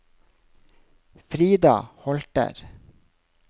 Frida Holter